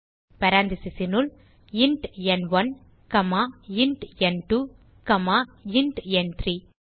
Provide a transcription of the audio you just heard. parenthesesனுள் int ந்1 comma int ந்2 comma int ந்3